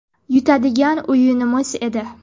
Yutadigan o‘yinimiz edi.